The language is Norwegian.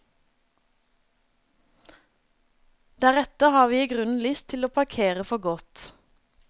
Deretter har vi i grunnen lyst til å parkere for godt.